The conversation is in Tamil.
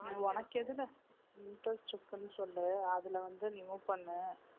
உனக்கு எதுல interest இருக்குன்னு சொல்லு அதுல வந்து நீ move பண்ணு